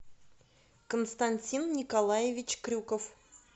константин николаевич крюков